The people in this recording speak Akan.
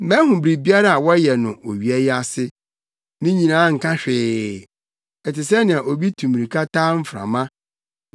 Mahu biribiara a wɔyɛ no owia yi ase; ne nyinaa nka hwee, ɛte sɛnea obi tu mmirika taa mframa.